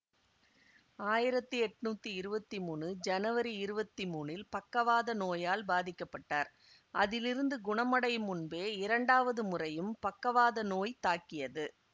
ஆயிரத்தி எட்ணூத்தி இருவத்தி மூனு ஜனவரி இருவத்தி மூனில் பக்கவாத நோயால் பாதிக்க பட்டார் அதிலிருந்து குணமடையும் முன்பே இரண்டாவது முறையும் பக்கவாத நோய் தாக்கியது